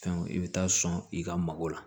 Fɛnw i bɛ taa sɔn i ka mago la